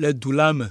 le du la me.